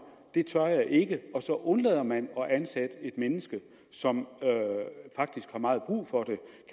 det tør jeg ikke og så undlader man at ansætte et menneske som faktisk har meget brug for